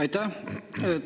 Aitäh!